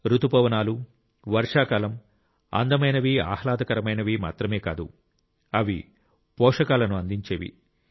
రుతుపవనాలు వర్షాకాలం అందమైనవి ఆహ్లాదకరమైనవి మాత్రమే కాదు అవి పోషకాయలను అందించేవి